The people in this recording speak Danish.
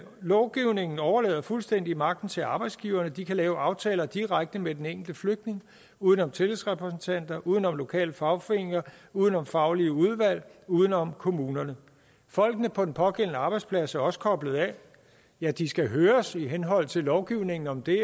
lovgivningen overlader fuldstændig magten til arbejdsgiverne de kan lave aftaler direkte med den enkelte flygtning uden om tillidsrepræsentanter uden om lokale fagforeninger uden om faglige udvalg uden om kommunerne folk på den pågældende arbejdsplads er også koblet af ja de skal høres i henhold til lovgivningen om det